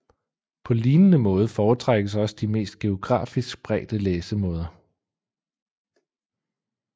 På lignende måde foretrækkes også de mest geografisk spredte læsemåder